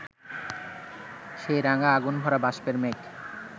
সেই রাঙা আগুনভরা বাষ্পের মেঘ